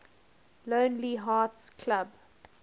lonely hearts club